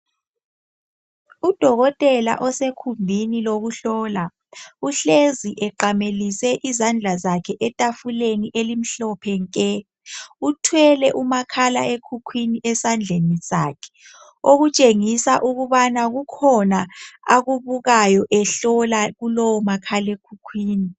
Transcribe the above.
Udokotela osekhumbini lokuhlola, uhlezi eqamelise izandla zakhe etafuleni elimhlophe nke. Uthwele umakhala ekhukhwini esandleni sakhe, okutshengisa ukubana kukhona akubukayo ehlola kulowo makhala ekhukhwini.